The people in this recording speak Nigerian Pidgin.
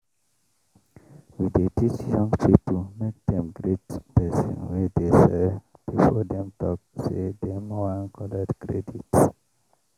we dey teach young people make dem greet persin wey dey sell before dem talk say dem wan collect credit.